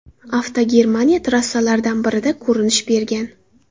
Avto Germaniya trassalaridan birida ko‘rinish bergan.